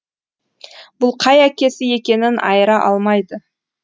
бұл қай әкесі екенін айыра алмайды